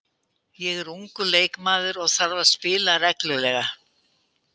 Ég er ungur leikmaður og þarf að spila reglulega.